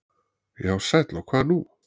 Já sæll og hvað nú.